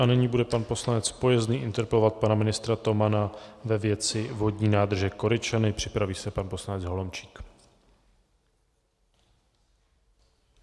A nyní bude pan poslanec Pojezný interpelovat pana ministra Tomana ve věci vodní nádrže Koryčany, připraví se pan poslanec Holomčík.